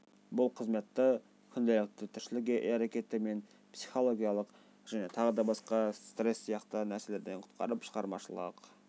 бұл қызметті күнделікті тіршілік әрекеті мен психологиялық және тағы да басқа стресс сияқты нәрселерден құтқарып шығармашылық